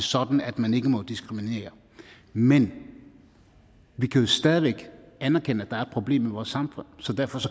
sådan at man ikke må diskriminere men vi kan jo stadig væk anerkende at der er et problem i vores samfund så derfor